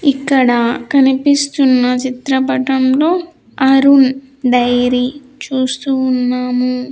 ఇక్కడ కనిపిస్తున్న చిత్రపటములో అరుణ్ డైరీ చూస్తూ ఉన్నాము.